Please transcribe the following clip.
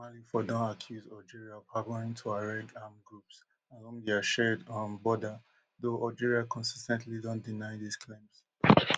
mali for long don accuse algeria of harbouring tuareg armed groups along dia shared um border though algeria consis ten tly don deny dis claims